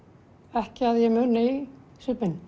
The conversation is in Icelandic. ekki að ég muni